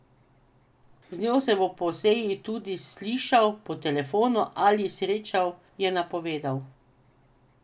Z njo se bo po seji tudi slišal po telefonu ali srečal, je napovedal.